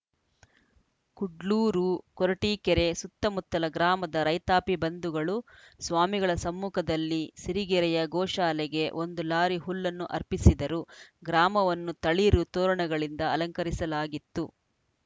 ಕುಡ್ಲೂರು ಕೊರಟೀಕೆರೆ ಸುತ್ತಮುತ್ತಲ ಗ್ರಾಮದ ರೈತಾಪಿ ಬಂಧುಗಳು ಸ್ವಾಮಿಗಳ ಸಮ್ಮುಖದಲ್ಲಿ ಸಿರಿಗೆರೆಯ ಗೋಶಾಲೆಗೆ ಒಂದು ಲಾರಿ ಹುಲ್ಲನ್ನು ಅರ್ಪಿಸಿದರು ಗ್ರಾಮವನ್ನು ತಳಿರು ತೋರಣಗಳಿಂದ ಅಲಂಕರಿಸಲಾಗಿತ್ತು